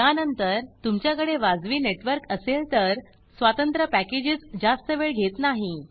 या नंतर तुमच्या कडे वाजवी नेटवर्क असेल तर स्वतंत्र पॅकेजस जास्त वेळ घेत नाही